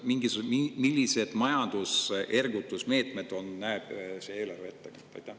Milliseid majanduse ergutamise meetmeid näeb see eelarve ette?